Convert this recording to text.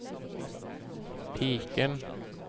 piken